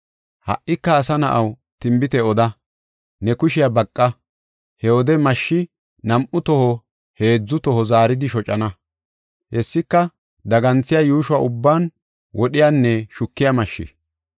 “Ha77ika asa na7aw, tinbite oda; ne kushiya baqa. He wode mashshi nam7u toho heedzu toho zaaridi shocana; hessika daganthiya, yuushuwa ubban wodhiyanne shukiya mashshi.